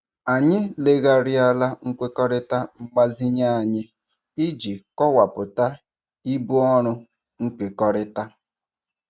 Anyị legharịala nkwekọrịta mgbazinye anyị iji kọwapụta ibu ọrụ nkekọrịtara.